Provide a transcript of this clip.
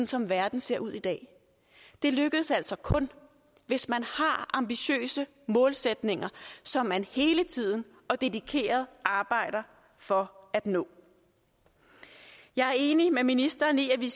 som verden ser ud i dag det lykkes altså kun hvis man har ambitiøse målsætninger som man hele tiden og dedikeret arbejder for at nå jeg er enig med ministeren i at vi